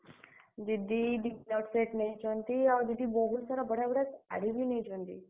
दीदी dinner set ନେଇଚନ୍ତି ଆଉ दीदी ବହୁତ୍ ସାରା ବଢିଆ ବଢିଆ, ଶାଢୀ ବି ନେଇଛନ୍ତି।